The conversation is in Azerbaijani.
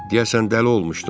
Deyəsən dəli olmuşdum.